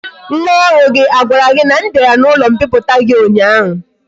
Nwa oru gi a gwara gi na m biara na ulo mpiputa gi unya?